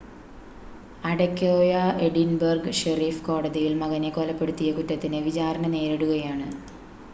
Adekoya Edinburgh sheriff കോടതിയിൽ മകനെ കൊലപ്പെടുത്തിയ കുറ്റത്തിന് വിചാരണ നേരിടുകയാണ്